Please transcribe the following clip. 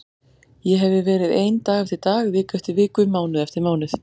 Ég hefi verið ein dag eftir dag, viku eftir viku, mánuð eftir mánuð.